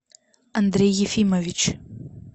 андрей ефимович